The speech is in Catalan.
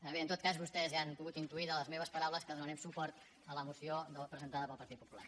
a veure en tot cas vostès ja han pogut intuir de les meves paraules que donarem suport a la moció presentada pel partit popular